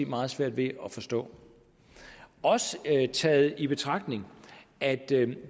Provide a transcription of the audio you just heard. meget svært ved at forstå også taget i betragtning at det kan